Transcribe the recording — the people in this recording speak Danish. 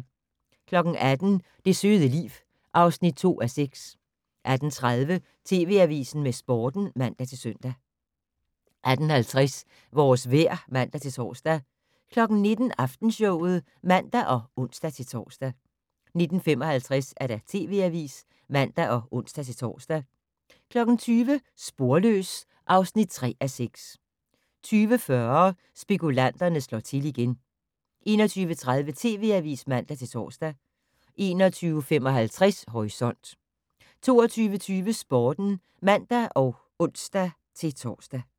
18:00: Det søde liv (2:6) 18:30: TV Avisen med Sporten (man-søn) 18:50: Vores vejr (man-tor) 19:00: Aftenshowet (man og ons-tor) 19:55: TV Avisen (man og ons-tor) 20:00: Sporløs (3:6) 20:40: Spekulanterne slår til igen 21:30: TV Avisen (man-tor) 21:55: Horisont 22:20: Sporten (man og ons-tor)